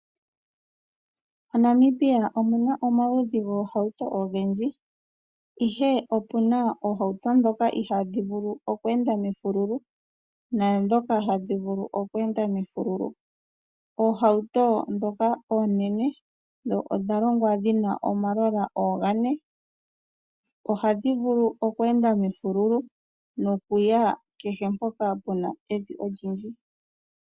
Monamibia omuna omaludhi goohauto ogendji Ihe opuna oohauto ndhoka ihadhi vulu oku enda mefululu naadhoka hadhi vulu oku enda mefululu. Oohauto ndhoka oonene dho odhalongwa dhina omalola gane . Ohadhi vulu oku enda mefululu nokuya kehe mpoka pena evi olindji .